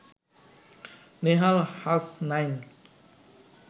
Nehal Hasnain